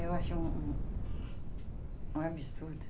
Eu acho um... um absurdo.